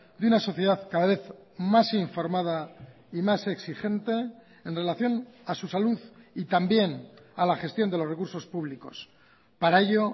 de una sociedad cada vez más informada y más exigente en relación a su salud y también a la gestión de los recursos públicos para ello